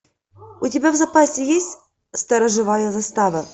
у тебя в запасе есть сторожевая застава